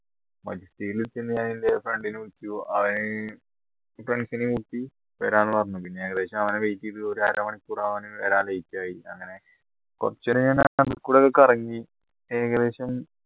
മജസ്റ്റിക്കിൽ എത്തിയതിനുശേഷം ഞാൻ എൻറെ friend നെ വിളിച്ചു അവൻ friends നെ കൂട്ടി വരാന്ന് പറഞ്ഞു പിന്നെ ഏകദേശം അവനെ wait ചെയ്തു ഒരു അരമണിക്കൂർ അവൻ വരാൻ late യി കറങ്ങി ഏകദേശം